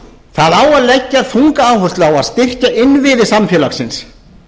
það á að leggja þunga áherslu á að styrkja innviði samfélagsins